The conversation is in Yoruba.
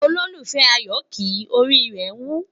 ololufẹ ayo kí, orí rè wù